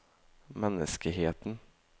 M E N N E S K E H E T E N